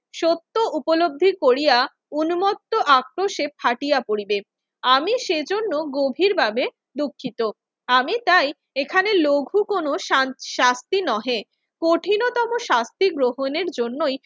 সত্য উপলব্ধি করিয়া উন্মত্ত আক্রোশে ফাটিয়া পড়িবে। আমি সেজন্য গভীরভাবে দুঃখিত। আমি চাই এখানে লঘু কোনো শান~ শাস্তি নহে। কঠিনতম শাস্তি গ্রহণের জন্যই